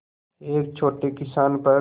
एक छोटे किसान पर